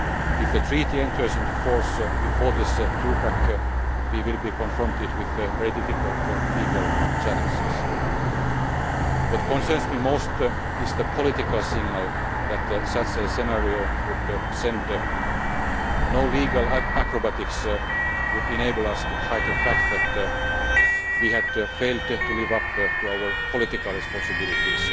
If the treaty enters into force before this two pack, we will be confronted with very difficult legal challenges. What concerns me most is the political signal that such a scenario would send no legal acrobatics would enable us to hide the fact that we had failed to live up to our political responsibilities,